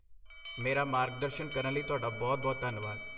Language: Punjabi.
ਮੇਰਾ ਮਾਰਗਦਰਸ਼ਨ ਕਰਨ ਲਈ ਤੁਹਾਡਾ ਬਹੁਤ ਧੰਨਵਾਦ।